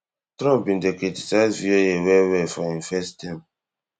trump bin dey criticise VOA well well for im first term